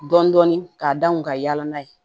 Dɔɔnin dɔɔnin k'a danw ka yala n'a ye